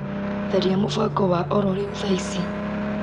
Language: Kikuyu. Tharia mũbango wa ororĩu thaa ici.